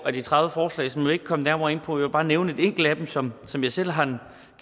af de tredive forslag så jeg vil ikke komme nærmere ind på vil bare nævne et enkelt af dem som som jeg selv har